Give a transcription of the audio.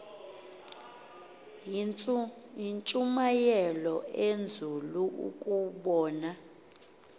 yintshumayelo enzulu ukubona